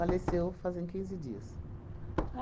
Faleceu fazem quinze dias.